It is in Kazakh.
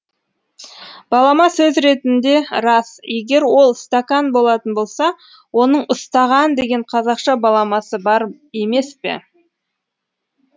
балама сөз ретінде рас егер ол стакан болатын болса оның ұстаған деген қазақша баламасы бар емес пе